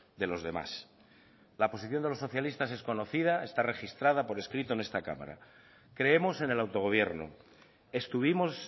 de los demás la posición de los socialistas es conocida está registrada por escrito en esta cámara creemos en el autogobierno estuvimos